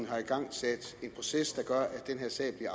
har igangsat en proces der gør at den her sag